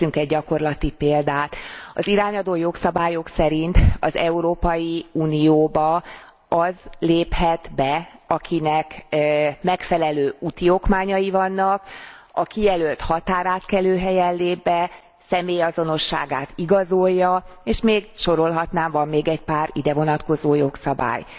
Most nézzünk egy gyakorlati példát az irányadó jogszabályok szerint az Európai Unióba az léphet be, akinek megfelelő úti okmányai vannak, kijelölt határátkelőhelyen lép be, személyazonosságát igazolja, és még sorolhatnám, van még egy pár idevonatkozó jogszabály.